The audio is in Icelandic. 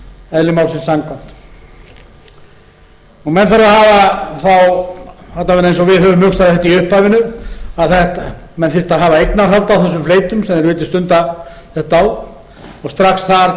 eðli málsins samkvæmt menn þurfa að hafa alla vega eins og við höfum hugsað þetta í upphafinu að menn þyrftu að hafa eignarhald á þessum fleytum sem þeir vildu stunda þetta á og strax þar